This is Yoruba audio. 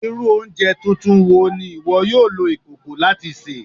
Iru ounjẹ tuntun wo ni iwọ yoo lo ikoko lati ṣe?